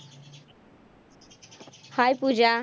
hi Pooja